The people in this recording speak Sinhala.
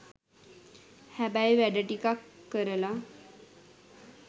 හැබැයි වැඩ ටිකත් කරල